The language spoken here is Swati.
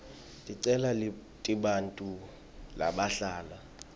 ticelo tebantfu labahlala